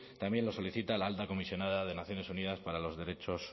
también lo solicita la alta comisionada de naciones unidas para los derechos